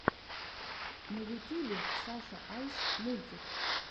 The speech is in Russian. на ютюбе саша айс мультик